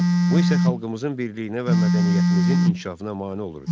Bu isə xalqımızın birliyinə və mədəniyyətimizin inkişafına mane olurdu.